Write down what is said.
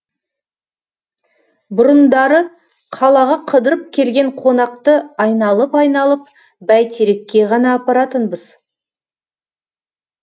бұрындары қалаға қыдырып келген қонақты айналып айналып бәйтерекке ғана апаратынбыз